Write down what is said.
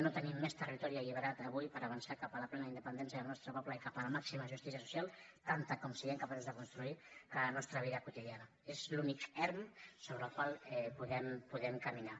no tenim més territori alliberat avui per avançar cap a la plena independència del nostre poble i cap a la màxima justícia social tanta com siguem capaços de construir que la nostra vida quotidiana és l’únic erm sobre el qual podem caminar